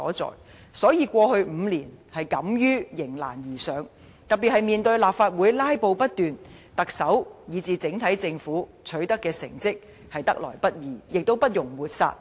所以，現屆政府在過去5年敢於迎難而上，特別面對立法會"拉布"不斷，特首和整體政府取得的成績，是得來不易，亦不容抹煞的。